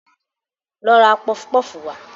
Lọ ra pọfpọf wá